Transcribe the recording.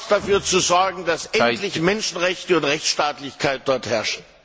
dafür zu sorgen, dass dort endlich Menschenrechte und Rechtsstaatlichkeit herrschen.